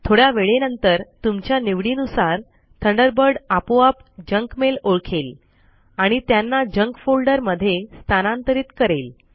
थोडया वेळेनंतर तुमच्या निवडीनुसार थंडरबर्ड आपोआप जंक मेल ओळखेल आणि त्यांना जंक फोल्डर मध्ये स्थानांतरित करेल